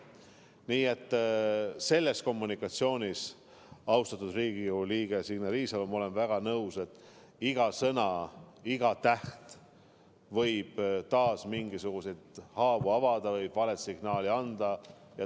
Nii et selle kommunikatsiooni puhul, austatud Riigikogu liige Signe Riisalo, olen ma väga nõus, et iga sõna ja iga täht võib taas mingisuguseid haavu avada või vale signaali anda.